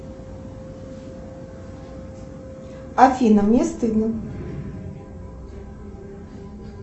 афина мне стыдно